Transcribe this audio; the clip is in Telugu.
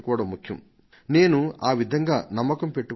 మనం ప్రజలలో ప్రగాఢ నమ్మకాన్ని ఉంచాలి